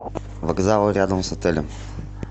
вокзалы рядом с отелем